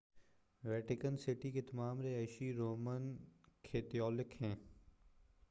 Vatican City کے تمام رہائشی رومن کیتھولک ہیں